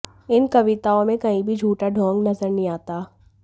इन कविताओं में कहीं भी झूठा ढोंग नजर नहीं आता